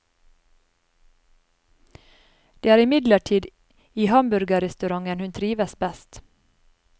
Det er imidlertid i hamburgerrestauranten hun trives best.